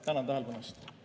Tänan tähelepanu eest!